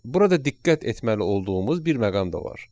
Burada diqqət etməli olduğumuz bir məqam da var.